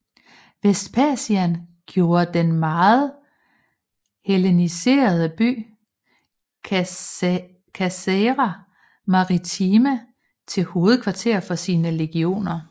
Vespasian gjorde den meget helleniserede by Caesarea Maritima til hovedkvarter for sine legioner